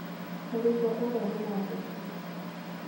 Mũrutwo ũrĩa nĩ mwathĩki.